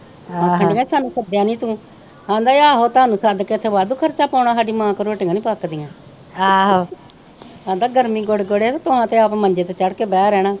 ਆਖਣ ਦੀਆ ਹਾਨੂੰ ਸੱਦਿਆ ਨਹੀਂ ਤੂੰ ਆਂਦਾ ਹੀ ਆਹੋ ਤੁਹਾਨੂੰ ਸੱਦ ਕੇ ਇਥੇ ਵਾਧੂ ਖਰਚਾ ਪਾਉਣਾ ਹਾਡੀ ਮਾਂ ਕੋ ਰੋਟੀਆਂ ਨਹੀਂ ਪਕਦੀਆਂ ਆਂਦਾ ਗਰਮੀ ਗੋਡੇ ਗੋਡੇ ਤੇ ਤੁਹਾ ਤੇ ਆਪ ਮੰਜੇ ਤੇ ਚੜ ਕੇ ਬਹਿ ਰਹਿਣਾ।